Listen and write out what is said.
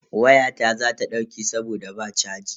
Wayata za ta dauke saboda ba chaji.